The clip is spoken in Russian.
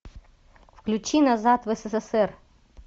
включи назад в ссср